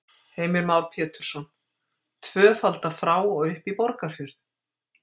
Heimir Már Pétursson: Tvöfalda frá og upp í Borgarfjörð?